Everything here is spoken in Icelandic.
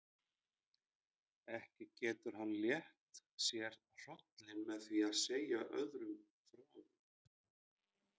Ekki getur hann létt sér hrollinn með því að segja öðrum frá.